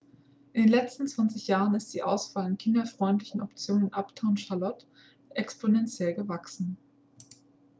in den letzten 20 jahren ist die auswahl an kinderfreundlichen optionen in uptown charlotte exponentiell gewachsen